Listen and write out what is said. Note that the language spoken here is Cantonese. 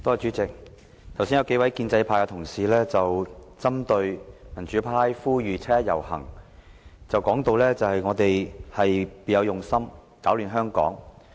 主席，剛才數位建制派同事針對民主派呼籲七一遊行，說我們別有用心，攪亂香港。